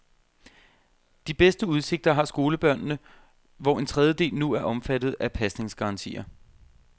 De bedste udsigter har skolebørnene, hvor en tredjedel nu er omfattet af pasningsgarantier.